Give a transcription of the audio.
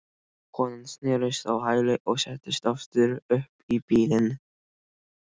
Konan snerist á hæli og settist aftur upp í bílinn.